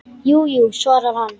Jú, jú, svarar hann.